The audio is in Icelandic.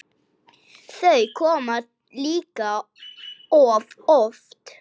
Þau koma líka of oft.